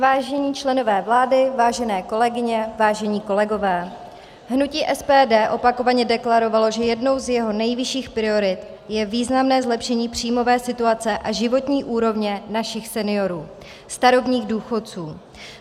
Vážení členové vlády, vážené kolegyně, vážení kolegové, hnutí SPD opakovaně deklarovalo, že jednou z jeho nejvyšší priorit je významné zlepšení příjmové situace a životní úrovně našich seniorů, starobních důchodců.